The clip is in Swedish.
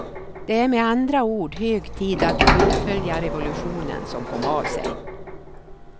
Det är med andra ord hög tid att fullfölja revolutionen som kom av sig.